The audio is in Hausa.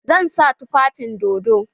Zan sa tufafin dodon.